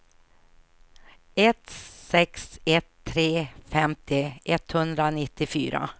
ett sex ett tre femtio etthundranittiofyra